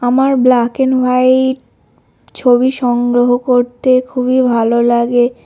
আমার black and white ছবি সংগ্রহ করতে খুবই ভালো লাগে।